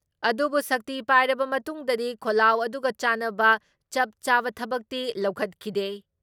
ꯑꯗꯨꯕꯨ ꯁꯛꯇꯤ ꯄꯥꯏꯔꯕ ꯃꯇꯨꯡꯗꯗꯤ ꯈꯣꯜꯂꯥꯎ ꯑꯗꯨꯒ ꯆꯥꯟꯅꯕ ꯆꯞ ꯆꯥꯕ ꯊꯕꯛꯇꯤ ꯂꯧꯈꯠꯈꯤꯗꯦ ꯫